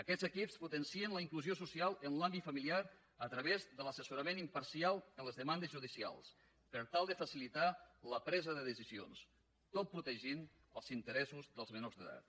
aquests equips potencien la inclusió social en l’àmbit familiar a través de l’assessorament imparcial en les demandes judicials per tal de facilitar la presa de decisions tot protegint els interessos dels menors d’edat